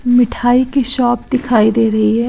मिठाई की शॉप दिखाई दे रही है।